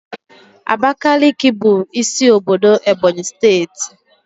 Abakiliki bụ isi obodo Ebonyi steeti